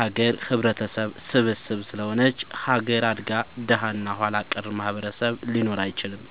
ሀገር ህብረተሰብ ስብስብ ስለሆነች ሀገር አድጋ ደሀ እና ኋላቀር ማህበረሰብ ሊኖር አይችልም።